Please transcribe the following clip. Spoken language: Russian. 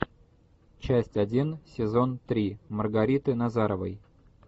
часть один сезон три маргариты назаровой